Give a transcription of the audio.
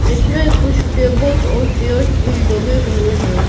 इसमें कुछ टेबल्स और चेयर्स भी लगे हुए हैं।